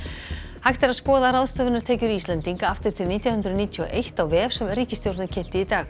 hægt er að skoða ráðstöfunartekjur Íslendinga aftur til nítján hundruð níutíu og eitt á vef sem ríkisstjórnin kynnti í dag